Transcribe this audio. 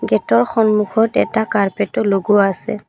গেটৰ সন্মুখত এটা কাৰ্পেটও লগোৱা আছে।